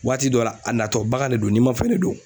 Waati dɔ la a natɔ baga de do ninmafɛn de do.